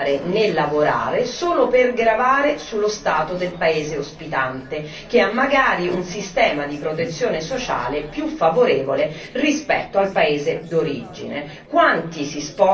senza studiare né lavorare, solo per gravare sullo Stato del paese ospitante che ha magari un sistema di protezione sociale più favorevole rispetto al paese d'origine.